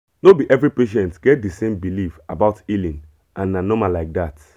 no be every patient get the same belief about healing and na normal like that